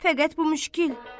Fəqət bu müşkil.